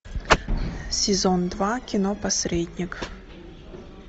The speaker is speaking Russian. сезон два кино посредник